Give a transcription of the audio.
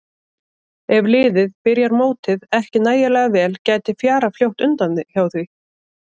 Ef liðið byrjar mótið ekki nægilega vel gæti fjarað fljótt undan hjá því.